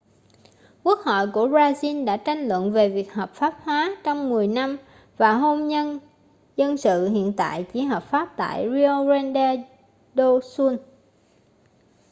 quốc hội của brazil đã tranh luận về việc hợp pháp hóa trong 10 năm và hôn nhân dân sự hiện tại chỉ hợp pháp tại rio grande do sul